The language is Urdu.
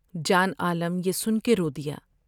جان عالم یہ سن کے رو دیا ۔